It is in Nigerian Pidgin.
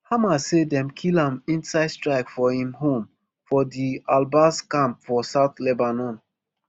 hamas say dem kill am inside strike for im home for di albass camp for south lebanon